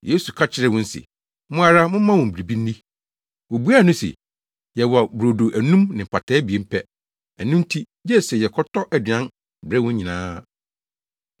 Yesu ka kyerɛɛ wɔn se, “Mo ara momma wɔn biribi nni.” Wobuaa no se, “Yɛwɔ brodo anum ne mpataa abien pɛ. Ɛno nti gye sɛ yɛkɔtɔ aduan brɛ wɔn nyinaa.”